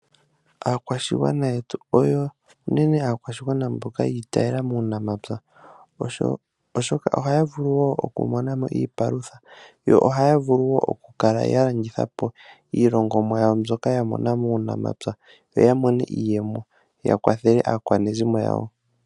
Aakwashigwana yetu oyo unene aawashigwana mboka yiinekela muunamapya, oshoka ohaya vulu oku mona mo iipalutha, yo ohaya vulu woo oku kala ya landitha po iilikolomwa yawo mbyoka ya mona muunamapya, yo ya mone iiyemo, ya kwathele aakwanezimo yawo.